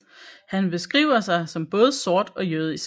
Han beskriver sig som både sort og jødisk